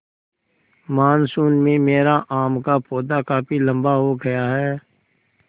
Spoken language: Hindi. मानसून में मेरा आम का पौधा काफी लम्बा हो गया है